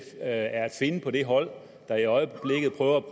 at finde på det hold der i øjeblikket prøver at